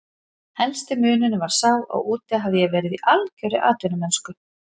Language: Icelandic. Helsti munurinn var sá að úti hafði ég verið í algjörri atvinnumennsku.